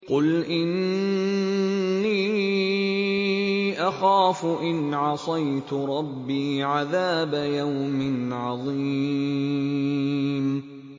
قُلْ إِنِّي أَخَافُ إِنْ عَصَيْتُ رَبِّي عَذَابَ يَوْمٍ عَظِيمٍ